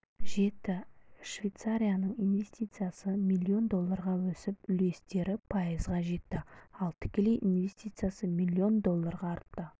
жетті швейцарияның инвестициясы млн долларға өсіп үлестері пайызға жетті ал тікелей инвестициясы миллион долларға артты